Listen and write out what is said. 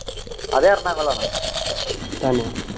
അത് എറണാകുളം